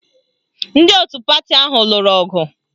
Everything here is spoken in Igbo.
Ndị otu pati ahụ lụrụ ọgụ